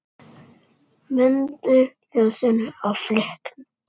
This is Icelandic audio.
Mundu ljósinu að fylgja.